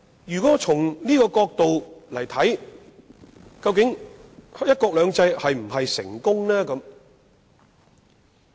究竟從這個角度"一國兩制"是否成功？